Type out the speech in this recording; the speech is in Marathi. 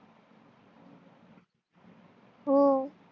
हो